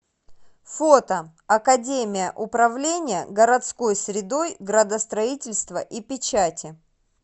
фото академия управления городской средой градостроительства и печати